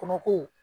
Kɔnɔko